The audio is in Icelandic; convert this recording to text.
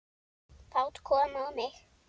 Fát kom á mig.